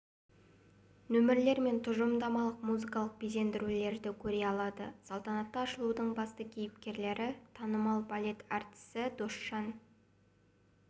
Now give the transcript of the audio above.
нөмірлер мен тұжырымдамалық музыкалық безендірулерді көре алады салтанатты ашылудың басты кейіпкерлері танымал балет әртісі досжан